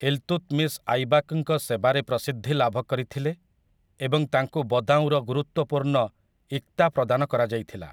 ଇଲ୍‌ତୁତ୍‌ମିଶ୍ ଆଇବାକ୍‌ଙ୍କ ସେବାରେ ପ୍ରସିଦ୍ଧି ଲାଭ କରିଥିଲେ ଏବଂ ତାଙ୍କୁ ବଦାଉଁର ଗୁରୁତ୍ୱପୂର୍ଣ୍ଣ ଇକ୍ତା ପ୍ରଦାନ କରାଯାଇଥିଲା ।